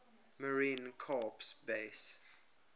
marine corps base